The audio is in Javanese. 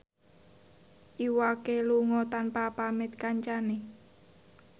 Iwa K lunga tanpa pamit kancane